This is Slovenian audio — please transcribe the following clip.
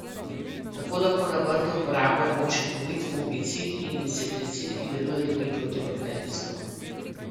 Tako lahko na vrtu uporabljamo učinkovit fungicid in insekticid, ki deluje tudi protibakterijsko.